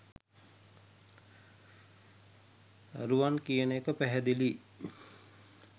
දරුවන් කියන එක පැහැදිලියි